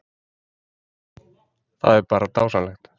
Það er bara dásamlegt